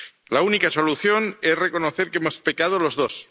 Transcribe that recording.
La única solución es reconocer que hemos pecado los dos.